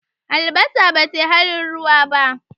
Albasa ba ta yi halin ruwa ba.